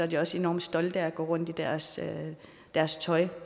de også enormt stolte af at gå rundt i deres deres tøj